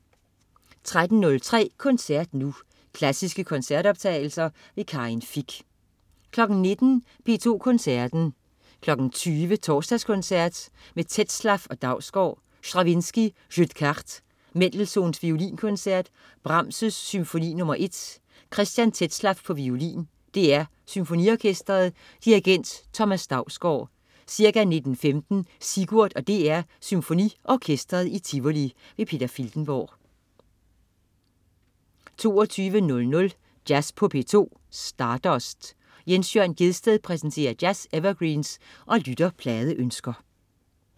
13.03 Koncert Nu. Klassiske koncertoptagelser. Karin Fich 19.00 P2 Koncerten. 20.00 Torsdagskoncert med Tetzlaff og Dausgaard. Stravinskij: Jeu des Cartes. Mendelssohn: Violinkoncert. Brahms: Symfoni nr. 1. Christian Tetzlaff, violin. DR Symfoniorkestret. Dirigent: Thomas Dausgaard. Ca. 19.15 Sigurd og DR SymfoniOrkestret i Tivoli. Peter Filtenborg 22.00 Jazz på P2. Stardust. Jens Jørn Gjedsted præsenterer jazz-evergreens og lytterpladeønsker